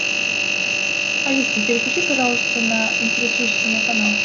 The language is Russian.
алиса переключи пожалуйста на интересующий меня канал